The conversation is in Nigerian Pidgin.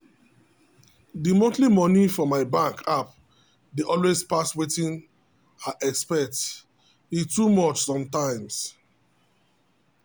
the monthly money for my bank app dey always pass wetin i expect e too much sometimes.